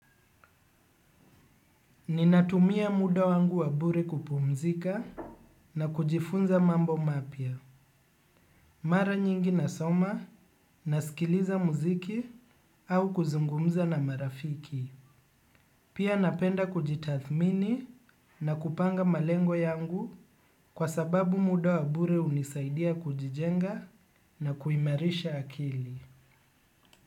Ninatumia muda wangu wa bure kupumzika na kujifunza mambo mapia. Mara nyingi nasoma na skiliza muziki au kuzungumza na marafiki. Pia napenda kujitathmini na kupanga malengo yangu kwa sababu muda wabure unisaidia kujijenga na kuimarisha akili.